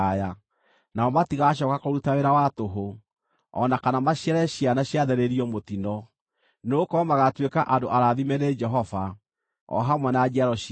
Nao matigacooka kũruta wĩra wa tũhũ, o na kana maciare ciana ciathĩrĩirio mũtino; nĩgũkorwo magaatuĩka andũ arathime nĩ Jehova, o hamwe na njiaro ciao.